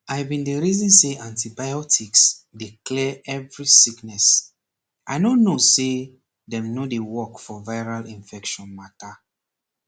i bin dey reason say antibiotics dey clear every sickness i no no say dem no dey work for viral infection mata